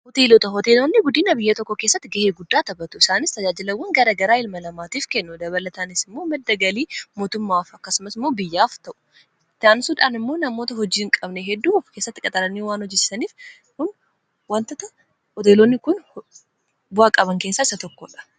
hooteelota hooteeloonni guddiina biyya tokko keessatti ga'ee guddaa tabatu isaanis tajaajilawwan gara garaa ilmalamaatiif kennu dabalataanis immoo maddagalii mootummaaf akkasumas imoo biyyaaf ta'u tayansuudhaan immoo namoota hojiiin qabne hedduu of kessatti qaxalanii waan hojisaniif kun wantata hoteeloonni kun bu'aaqaban keessaa isa tokkoodha